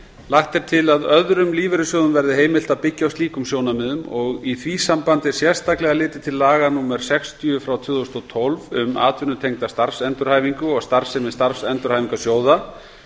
lagt er til að öðrum lífeyrissjóðum verði heimilt að byggja á slíkum sjónarmiðum og í því sambandi sérstaklega litið til laga númer sextíu og tvö þúsund og tólf um atvinnutengda starfsendurhæfingu og starfsemi starfsendurhæfingarsjóða